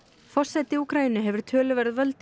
forseti Úkraínu hefur töluverð völd